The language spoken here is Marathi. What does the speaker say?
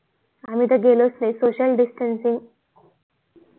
आम्ही त गेलो च नि social distance सिंग